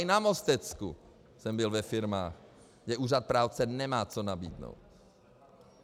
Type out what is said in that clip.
I na Mostecku jsem byl ve firmách, kde úřad práce nemá co nabídnout.